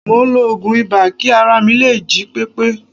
Mò ń lo oògùn ibà kí ara mi lè jí pépé